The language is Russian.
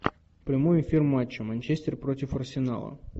прямой эфир матча манчестер против арсенала